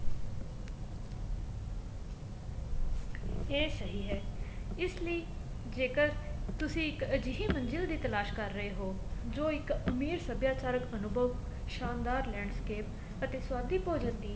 ਇਹ ਸਹੀ ਹੈ ਇਸ ਲਈ ਜੇਕਰ ਤੁਸੀਂ ਇੱਕ ਅਜਹੀ ਮੰਜਿਲ ਦੀ ਤਲਾਸ਼ ਕਰ ਰਹੇ ਹੋ ਜੋ ਇੱਕ ਅਮੀਰ ਸਭਿਆਚਾਰਕ ਅਨੁਭਵ ਸ਼ਾਨਦਾਰ landscape ਅਤੇ ਸਵਾਦੀ ਭੋਜਣ ਦੀ